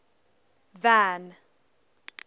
van